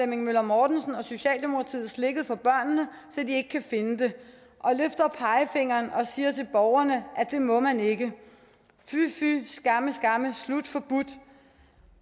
møller mortensen og socialdemokratiet slikket for børnene så de ikke kan finde det og løfter pegefingeren og siger til borgerne at det må man ikke fy fy skamme skamme slut forbudt